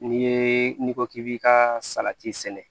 N'i ye n'i ko k'i b'i ka salati sɛnɛ